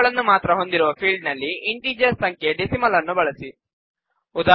ಸಂಖ್ಯೆಗಳನ್ನು ಮಾತ್ರ ಹೊಂದಿರುವ ಫೀಲ್ಡ್ ನಲ್ಲಿ ಇಂಟಿಜರ್ ಸಂಖ್ಯೆ ಡೆಸಿಮಲ್ ನ್ನು ಬಳಸಿ